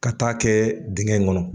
Ka t'a kɛ digɛn in kɔnɔ